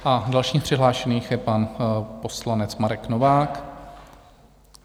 A dalším z přihlášených je pan poslanec Marek Novák.